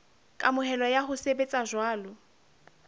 kamohelo ya ho sebetsa jwalo